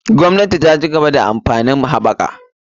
Gwamnati ta cigaba ta amfanin haɓaka.